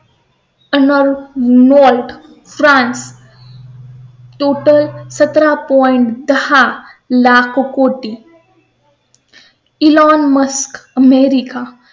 नोर नोर, France. Total सतरा point हा लाखो कोटी . Elon Musk America